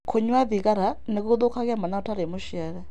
Kũnyua thigara nĩ gũthũkagia mwana ũtarĩ mũciare.